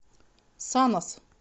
санас